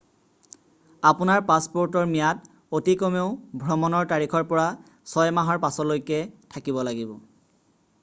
আপোনাৰ পাছপ'ৰ্টৰ ম্যাদ অতি কমেও ভ্ৰমণৰ তাৰিখৰ পৰা 6 মাহৰ পাছলৈকে থাকিব লাগিব